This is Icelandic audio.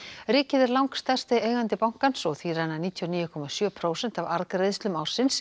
ríkið er langstærsti eigandi bankans og því renna níutíu og níu komma sjö prósent af arðgreiðslum ársins